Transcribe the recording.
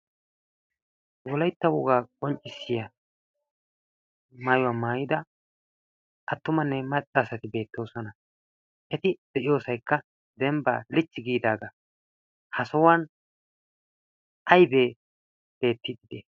wolaytta wogaa qonccissiya maayuwaa maayida attumanne maccaasati beettoosona eti de'iyoosaykka dembbaa lichchi giidaagaa ha sahuwan aybee deetti dide